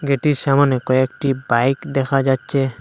এটির সামোনে কয়েকটি বাইক দেখা যাচ্ছে।